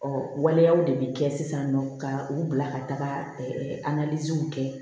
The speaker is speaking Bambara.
Ɔ waleyaw de bɛ kɛ sisan nɔ ka u bila ka taga kɛ